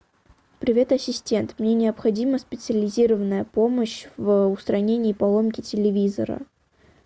привет ассистент мне необходима специализированная помощь в устранении поломки телевизора